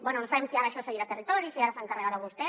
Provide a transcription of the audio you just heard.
bé no sabem si ara això seguirà a territori si ara se n’encarregarà vostè